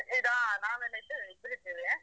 ಹಾ ನಾವೆಲ್ಲಾ ಇದ್ದೇವೆ ಇಬ್ರು ಇದ್ದೇವೆ.